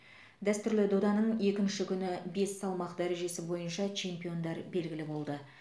дәстүрлі доданың екінші күні бес салмақ дәрежесі бойынша чемпиондар белгілі болды